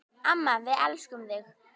Amma, við elskum þig.